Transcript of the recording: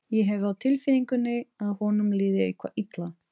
Ég hef á tilfinningunni að honum líði eitthvað illa.